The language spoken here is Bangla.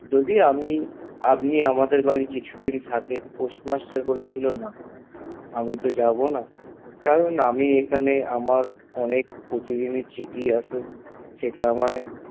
যদি আমি আপনি আমাদের বাড়ি কিছুদিন থাকেন postmaster বলেছিলেন না আমি তো যাবো না কারণ আমি এখানে প্রতিদিনের চিঠি আসে সেটা আমায়